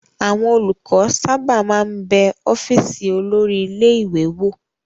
Àwọn olùkọ́ sábà máa ń bẹ ọ́fíísì olórí ilé-ìwé wò.